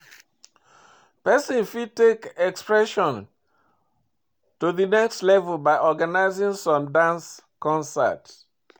Person fit take im expression to the next level by organizing small dance concert